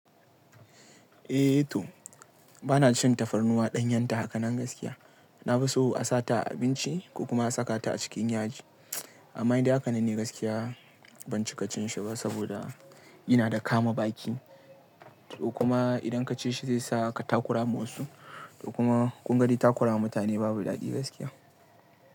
Eh to bana cin tafarnuwa ɗanyenta haka nan gaskiya. Na fi so a sata abinci ko kuma a sakata a cikin yaji. Amma in dai haka nan ne gaskiya ban cika cin shi ba saboda ina da kama baki. To kuma idan ka ci shi zai sa ka takura ma wasu. To kuma ƙungan de takura wa mutane babu daɗi gaskiya.